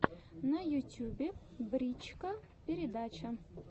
на ютюбе брич ка передача